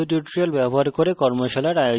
কথ্য tutorial প্রকল্প the